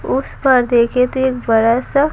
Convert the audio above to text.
उस पर देखें तो एक बड़ा सा ---